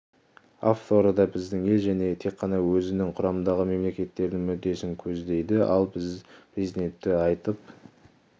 авторы да біздің ел және тек қана өзінің құрамындағы мемлекеттердің мүддесін көздейді ал біздің президенттің айтып